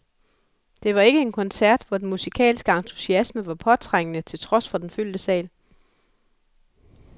Det var ikke en koncert, hvor den musikalske entusiasme var påtrængende, til trods for den fyldte sal.